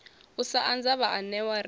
u sa anza vhaanewa ri